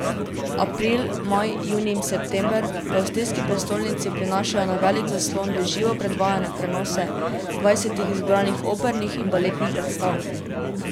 April, maj, junij in september v avstrijski prestolnici prinašajo na velik zaslon v živo predvajane prenose dvajsetih izbranih opernih in baletnih predstav.